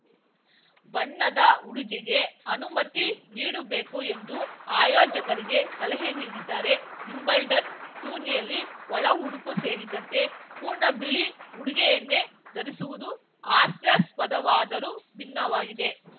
ಬಣ್ಣದ ಉಡುಗೆಗೆ ಅನುಮತಿ ನೀಡುಬೇಕು ಎಂದು ಆಯೋಜಕರಿಗೆ ಸಲಹೆ ನೀಡಿದ್ದಾರೆ ವಿಂಬಲ್ಡನ್‌ ಟೂರ್ನಿಯಲ್ಲಿ ಒಳ ಉಡುಪು ಸೇರಿದಂತೆ ಪೂರ್ಣ ಬಿಳಿ ಉಡುಗೆಯನ್ನೇ ಧರಿಸುವುದು ಹಾಸ್ಯಾಸ್ಪದವಾದರೂ ಭಿನ್ನವಾಗಿದೆ